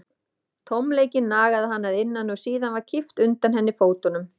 Tómleikinn nagaði hana að innan og síðan var kippt undan henni fótunum.